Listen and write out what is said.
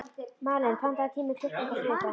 Malen, pantaðu tíma í klippingu á þriðjudaginn.